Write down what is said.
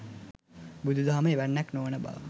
බුදු දහම එවැන්නක් නොවන බව